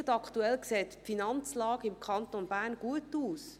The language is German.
Jetzt gerade sieht die Finanzlage im Kanton Bern gut aus.